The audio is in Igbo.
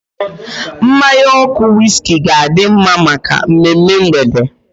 Mmanya ọkụ wiski ga-adi mma maka mmemme mgbede.